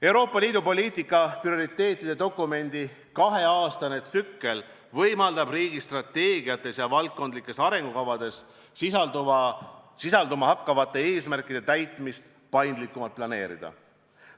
Euroopa Liidu poliitika prioriteetide dokumendi kaheaastane tsükkel võimaldab riigi strateegiates ja valdkondlikes arengukavades sisalduma hakkavate eesmärkide täitmist paindlikumalt planeerida.